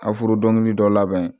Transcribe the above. A furu dɔnkili dɔ labɛn